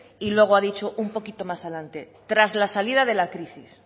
y luego ha dicho un poquito más adelante tras la salida de la crisis